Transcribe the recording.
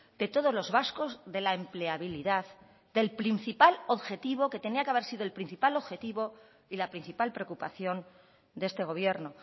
de todos los vascos de la empleabilidad del principal objetivo que tenía que haber sido el principal objetivo y la principal preocupación de este gobierno